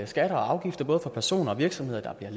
skatter og afgifter både for personer og virksomheder der bliver